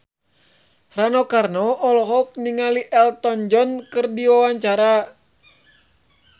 Rano Karno olohok ningali Elton John keur diwawancara